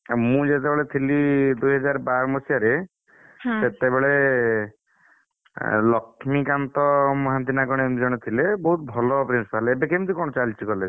ଆଉ ମୁଁ ଯେତବେଳେ ଥିଲି ଦୁଇ ହଜାର ବାର ମସିହାରେ ସେତେବେଳେ, ଅଁ ଲକ୍ଷ୍ମୀକାନ୍ତ ମହାନ୍ତି ନା କଣ ଏମିତି ଜଣେ ଥିଲେ, ବୋହୁତ ଭଲ principal ଏବେ କେମିତି କଣ ଚାଲିଛି college ରେ?